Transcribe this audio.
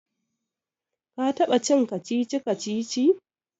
ka taba cin kacici-kacici?